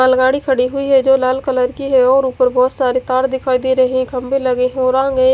मालगाड़ी खड़ी हुई है जो लाल कलर की है और उपर बहोत सारे तार दिखाई दे रहे है खम्भे लगे हुए होरांग है।